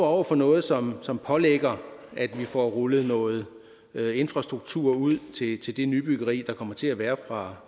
over for noget som som pålægger at vi får rullet noget infrastruktur ud til det nybyggeri der kommer til at være fra